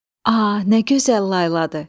A, nə gözəl layladır!